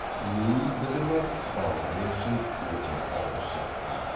нейи бітімі болгария үшін өте ауыр соққы